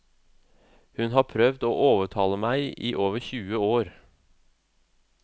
Hun har prøvd å overtale meg i over tjue år.